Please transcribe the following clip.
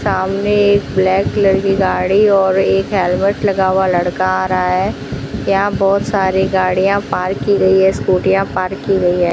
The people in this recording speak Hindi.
सामने एक ब्लैक कलर की गाड़ी और एक हेलमेट लगा हुआ लड़का आ रहा है यहां बहुत सारी गाड़ियां पार्क की गई है स्कूटियां पार्क की गई है।